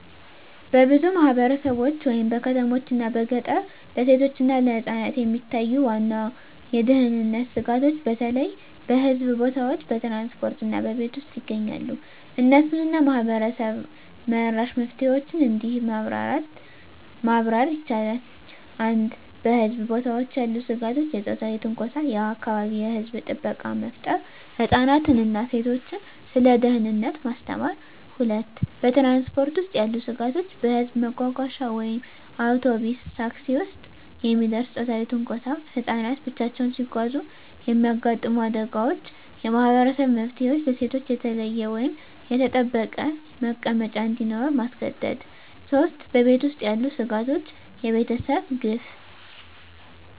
በብዙ ማህበረሰቦች (በከተሞችና በገጠር) ለሴቶችና ለህፃናት የሚታዩ ዋና የደህንነት ስጋቶች በተለይ በህዝብ ቦታዎች፣ በትራንስፖርት እና በቤት ውስጥ ይገኛሉ። እነሱን እና ማህበረሰብ-መራሽ መፍትሄዎችን እንዲህ ማብራር ይቻላል፦ 1. በህዝብ ቦታዎች ያሉ ስጋቶች የጾታዊ ትንኮሳ የአካባቢ የህዝብ ጥበቃ መፍጠር ህፃናትን እና ሴቶችን ስለ ደህንነት ማስተማር 2. በትራንስፖርት ውስጥ ያሉ ስጋቶች በህዝብ መጓጓዣ (አውቶቡስ፣ ታክሲ) ውስጥ የሚደርስ ጾታዊ ትንኮሳ ህፃናት ብቻቸውን ሲጓዙ የሚያጋጥሙ አደጋዎች የማህበረሰብ መፍትሄዎች ለሴቶች የተለየ ወይም የተጠበቀ መቀመጫ እንዲኖር ማስገደድ 3. በቤት ውስጥ ያሉ ስጋቶች የቤተሰብ ግፍ